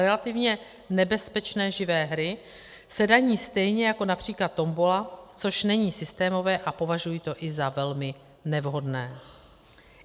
Relativně nebezpečné živé hry se daní stejně jako například tombola, což není systémové, a považuji to i za velmi nevhodné.